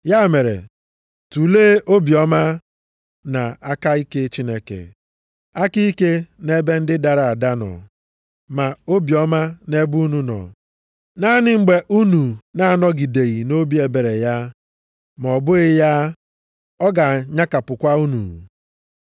Ya mere, tulee obiọma na aka ike Chineke, aka ike nʼebe ndị dara ada nọ, ma obiọma nʼebe unu nọ, naanị mgbe unu na-anọgideghị nʼobi ebere ya, ma ọ bụghị ya, ọ ga-anyakapụkwa unu.